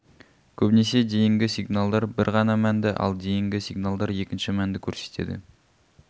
көбінесе дейінгі сигналдар бір ғана мәнді ал дейінгі сигналдар екінші мәнді көрсетеді